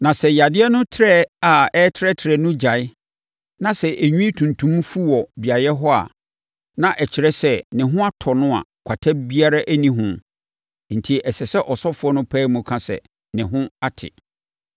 Na sɛ yadeɛ no trɛ a ɛretrɛtrɛ no gyae na sɛ enwi tuntum fu wɔ beaeɛ hɔ a, na ɛkyerɛ sɛ, ne ho atɔ no a kwata biara nni ne ho enti ɛsɛ sɛ ɔsɔfoɔ no pae mu ka sɛ, ne ho ate.